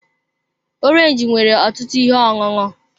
Orange nwere ọtụtụ ihe ọṅụṅụ.